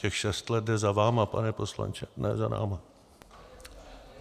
Těch šest let jde za vámi, pane poslanče, ne za námi.